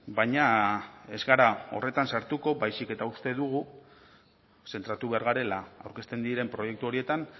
baina ez gara horretan sartuko baizik eta uste dugu zentratu behar garela aurkezten diren proiektu horietan